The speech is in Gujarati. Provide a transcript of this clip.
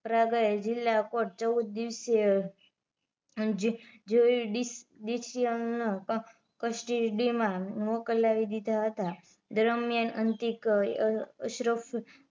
પ્રયાગરાજ જિલ્લા પર ચૌદ દીવસે જોયુડીસીયન કસ્ટડીમાં મોકલાવી દીધા હતા દરમીયાન અંતિક અશરફ